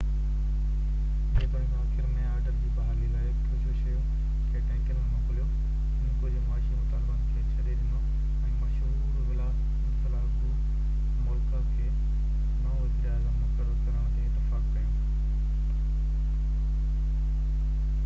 جيتوڻيڪ آخر ۾ آرڊر جي بحالي لاءِ ڪروششيوو کي ٽئنڪن ۾ موڪليو هن ڪجهه معاشي مطالبن کي ڇڏي ڏنو ۽ مشهور ولادسلا گومولڪا کي نئون وزيراعظم مقرر ڪرڻ تي اتفاق ڪيو